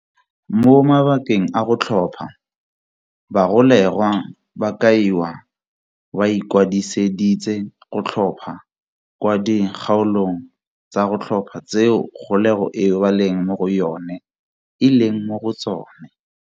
Mo mabakeng a go tlhopha, bagolegwa ba kaiwa ba ikwadiseditse go tlhopha kwa di kgaolong tsa go tlhopha tseo kgolegelo eo ba leng mo go yone eleng mo go tsone.